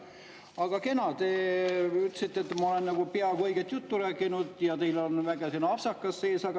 Aga kena, te ütlesite, et ma olen nagu peaaegu õiget juttu rääkinud, ja teil on väike apsakas sees.